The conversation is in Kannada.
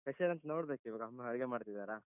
Special ಎಂತ ನೋಡ್ಬೇಕೀವಾಗ. ಅಮ್ಮ ಅಡಿಗೆ ಮಾಡ್ತಿದಾರ.